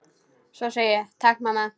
Svo ég segi: Takk mamma.